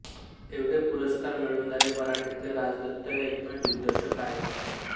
एवढे पुरस्कार मिळवणारे मराठीतले राजदत्त हे एकमेव दिग्दर्शक आहेत